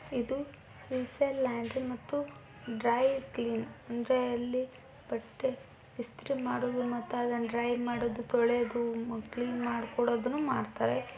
ಇದು ಶ್ರೀಶೈಲ ಲ್ಯಾಂಡ್ರಿ ಮತ್ತು dry clean ಅಂದ್ರೆ ಇಲ್ಲಿ ಬಟ್ಟೆಇ ಸ್ತ್ರೀ ಮಾಡೋದು ಮತ್ತೆ ಅದನ್ನ ಡ್ರೈ ಮಾಡೋದು ತೊಳಿಯದು ಮತ್ತು ಕ್ಲೀನ್ ಮಾಡ್ಕೊಡೋದನ್ನು ಮಾಡ್ತಾರೆ.